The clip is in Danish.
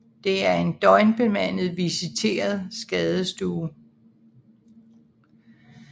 Det er en døgnbemandet visiteret skadestue